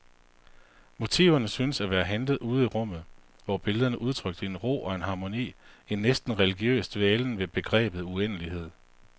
Motiverne syntes at være hentet ude i rummet, hvor billederne udtrykte en ro og en harmoni, en næsten religiøs dvælen ved begrebet uendelighed.